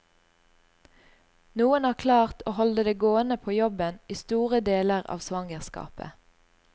Noen har klart å holde det gående på jobben i store deler av svangerskapet.